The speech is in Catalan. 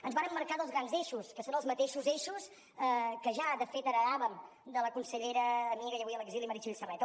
ens vàrem marcar dos grans eixos que són els mateixos eixos que ja de fet heretàvem de la consellera amiga i avui a l’exili meritxell serret